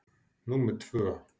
númer tvö.